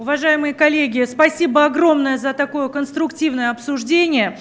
уважаемые коллеги спасибо огромное за такое конструктивное обсуждение